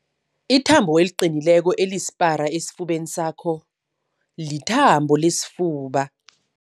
Ithambo eliqinileko elisipara esifubeni sakho lithambo lesifuba.